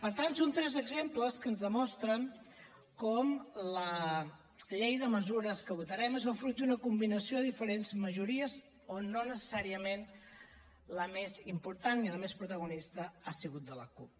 per tant són tres exemples que ens demostren com la llei de mesures que votarem és el fruit d’una combinació de diferents majories on no necessàriament la més impostant ni la més protagonista ha sigut de la cup